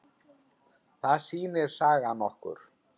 Það sýnir sagan okkur.